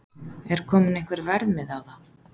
Er kominn einhver verðmiði á það?